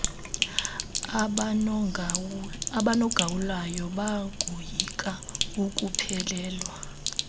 abanogawulayo bangoyika ukuphelelwa